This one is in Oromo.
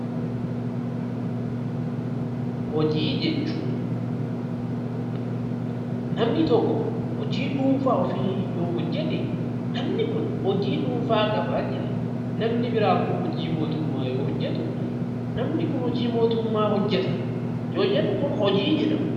Hojii jechuun namni tokko hojii dhuunfaa ofii yoo hojjete namni kun hojii dhuunfaa qaba jenna. Namni buraa immoo hojii mootummaa yoo hojjetu namni kun hojii mootummaa hojjeta yoo jennu kun hojii jedhama.